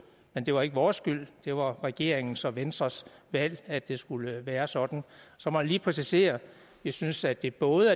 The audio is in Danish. men det var ikke vores skyld det var regeringens og venstres valg at det skulle være sådan så må jeg lige præcisere jeg synes at det både